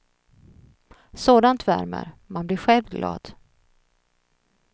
Sådant värmer, man blir själv glad.